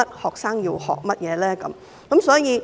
學生要學習甚麼？